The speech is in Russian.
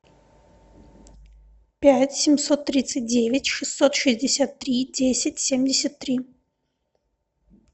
пять семьсот тридцать девять шестьсот шестьдесят три десять семьдесят три